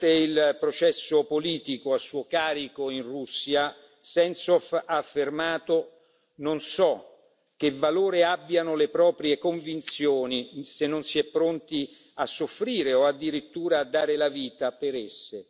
Durante il processo politico a suo carico in Russia, Sentsov ha affermato Non so che valore abbiano le proprie convinzioni se non si è pronti a soffrire o addirittura a dare la vita per esse.